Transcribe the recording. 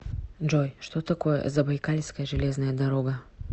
джой что такое забайкальская железная дорога